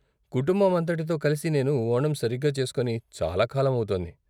కుటుంబం అంతటితో కలిసి నేను ఓణం సరిగ్గా చేస్కొని చాలా కాలం అవుతోంది.